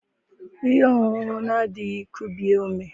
ihe ọṅụṅụ na-adịghị kubie ume